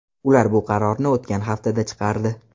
Ular bu qarorni o‘tgan haftada chiqardi.